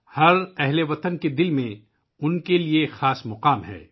ہر بھارتی کے دل میں ان کا ایک خاص مقام ہے